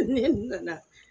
Ne nana